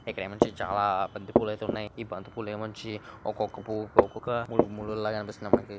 ఇక్కడేమోచ్చి చాలా బంతిపూల అయితే ఉన్నాయి ఈ బంతి పువ్వులోమోచ్చి ఒక్కొక్క పువ్వుకు ఒక్కొక్క ముళ్ళు లా కనిపిస్తున్నాయి మనకి.